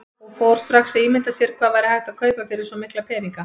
Og fór strax að ímynda sér hvað hægt væri að kaupa fyrir svo mikla peninga.